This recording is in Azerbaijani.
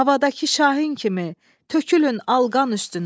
Havadakı şahin kimi, tökülün alqan üstünə.